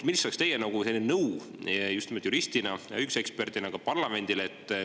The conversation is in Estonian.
Ja teine pool: mis oleks teie kui juristi, õiguseksperdi nõu parlamendile?